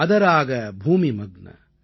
அதராக பூமி மக்ன